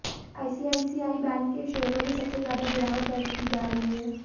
ICICI bank के शेयरों में सबसे ज्यादा गिरावट दर्ज की जा रही है